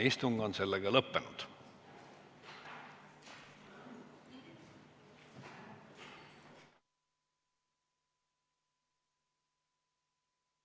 Istungi lõpp kell 15.49.